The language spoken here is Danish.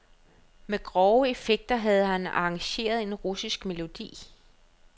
Med grove effekter havde han arrangeret en russisk melodi.